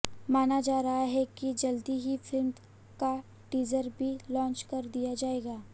माना जा रहा है कि जल्दी ही फिल्म का टीज़र भी लॉन्च कर दिया जाएगा